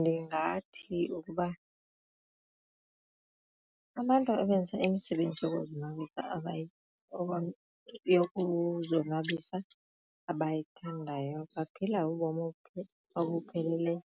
Ndingathi ukuba abantu abenza imisebenzi yokuzonwabisa yokuzonwabisa abayithandayo baphila ubomi obupheleleyo